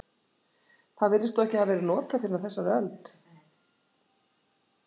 Það virðist þó ekki hafa verið notað fyrr en á þessari öld.